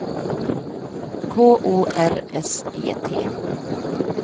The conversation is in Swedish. K O R S E T